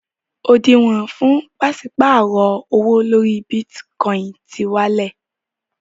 Òdìwọ̀n fún pàṣípàrọ̀ owó lórí Bítíkọinì ti wálẹ̀.